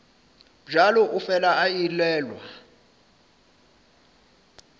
bjalo o fela a elelwa